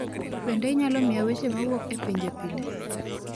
Bende inyalo miya weche ma wuok e pinje pile